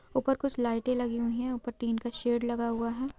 ऊपर कुछ लाइट लगी हुई है ऊपर टीन का शेड लगा हुआ है।